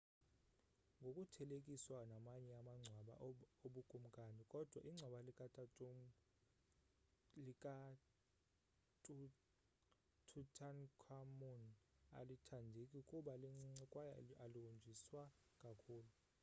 ngokuthelekiswa namanye amagcwaba obukumkani kodwa ingcwaba lika-tutankhamun alithandeki kuba lincinci kwaye alihonjiswa kakhulu